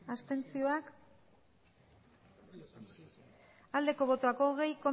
abstentzioa hogei